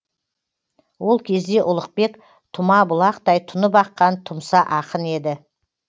ол кезде ұлықбек тұма бұлақтай тұнып аққан тұмса ақын еді